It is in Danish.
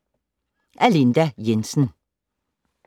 Af Linda Jensen